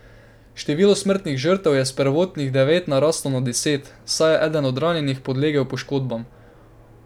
Število smrtnih žrtev je s prvotnih devet naraslo na deset, saj je eden od ranjenih podlegel poškodbam.